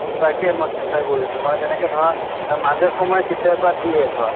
তাকে মই চিন্তা কৰিছো মানে যেনেকে ধৰা মাজে সময়ে কেতিয়াবা দিয়ে ধৰা